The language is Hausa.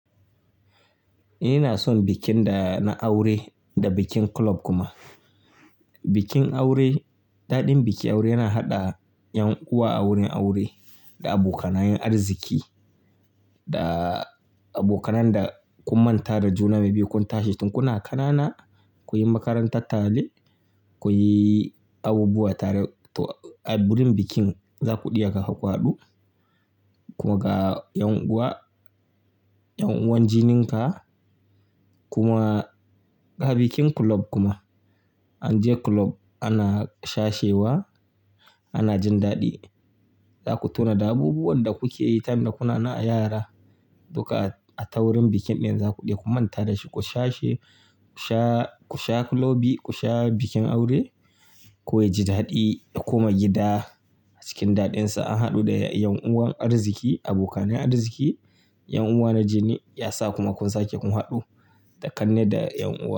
Ina son bikin da na aure da bikin kulob kuma. Bikin aure, daɗin bikin aure yana haɗa ƴan uwa a wurin aure da abokanayan arziki da abokanan da kun manta da juna maybe kun tashi tun kuna ƙanana, kunyi makaranta tare, kunyi abubuwa tare. To a wurin bikin za kuɗi aka ku haɗu kuma ga ƴan'uwa, ƴan'uwan jininka kuma ga bikin kulob kuma an je kulob ana shashewa, ana jin daɗi. Zaku tona da abubuwan da kuke yi time da kuna nan a yara. Dukka a ta wurin bikin ɗin za ku ɗsi ku manta da shi. Ku shashe, ku sha ku sha kulobi, ku sha bikin aure. Kowa ya ji daɗi ya koma gida cikin daɗinsa an haɗu da ƴan'uwan arziki, abokanai arziki, ƴan'uwa na jini ya sa kuma kun sake kun haɗu da kanne da ƴan'uwa.